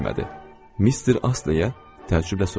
Mister Astleyə, təəccüblə soruşdum.